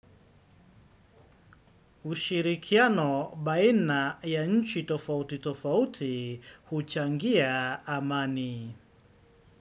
Ushirikiano baina ya nchi tofauti tofauti huchangia amani.